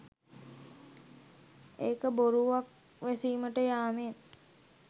එක බොරුවක් වැසීමට යාමෙන්